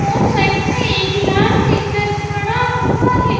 और साइड में एक लाल ट्रैक्टर खड़ा हुआ है।